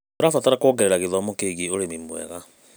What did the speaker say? Tũrabatara kuongerera gĩthomo kĩgiĩ ũrĩmi mwega.